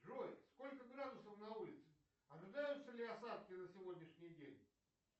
джой сколько градусов на улице ожидаются ли осадки на сегодняшний день